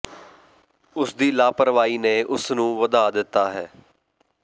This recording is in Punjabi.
ਉਸ ਦੀ ਲਾਪਰਵਾਹੀ ਨੇ ਉਸ ਨੂੰ ਵਧਾ ਦਿੱਤਾ ਹੈ